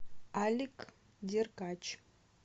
алик деркач